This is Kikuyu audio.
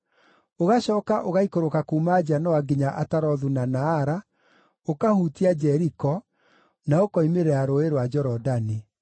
Ũgacooka ũgaikũrũka kuuma Janoa nginya Atarothu na Naara, ũkahutia Jeriko, na ũkoimĩrĩra Rũũĩ rwa Jorodani.